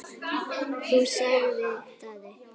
Þú, sagði Daði.